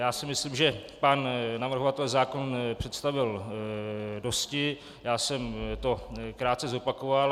Já si myslím, že pan navrhovatel zákon představil dosti, já jsem to krátce zopakoval.